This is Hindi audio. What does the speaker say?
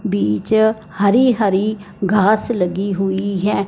बीच हरी-हरी घास लगी हुई है।